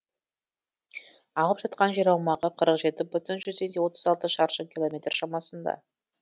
алып жатқан жер аумағы қырық жеті бүтін жүзден отыз алты шаршы километр шамасында